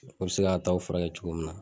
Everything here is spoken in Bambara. O be se k'a taw furakɛ cogo min na